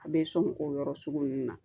A bɛ sɔn o yɔrɔ sugu nunnu na